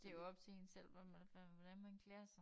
Det jo op til én selv hvordan man hvordan man klæder sig